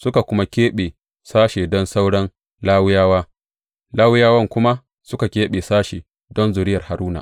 Suka kuma keɓe sashe don sauran Lawiyawa, Lawiyawan kuma suka keɓe sashe don zuriyar Haruna.